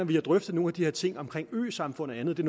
vi har drøftet nogle af de her ting om øsamfund og andet